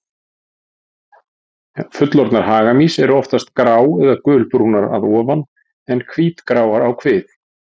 Fullorðnar hagamýs eru oftast grá- eða gulbrúnar að ofan en hvítgráar á kvið.